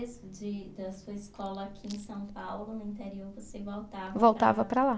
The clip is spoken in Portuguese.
Mais de, da sua escola aqui em São Paulo, no interior, você voltava para. Voltava para lá